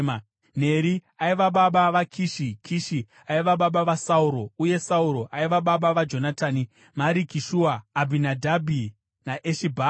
Neri aiva baba vaKishi, Kishi aiva baba vaSauro, uye Sauro aiva baba vaJonatani, Mariki-Shua, Abinadhabhi, naEshi-Bhaari.